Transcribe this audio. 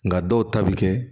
Nga dɔw ta bi kɛ